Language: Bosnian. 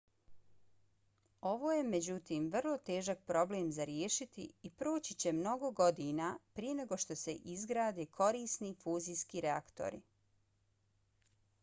ovo je međutim vrlo težak problem za riješiti i proći će mnogo godina prije nego što se izgrade korisni fuzijski reaktori